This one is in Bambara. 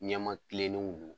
Ɲɛmaa kilennenw don.